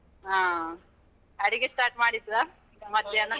ಹಾ, ಅಡಿಗೆ start ಮಾಡಿದ್ರ? .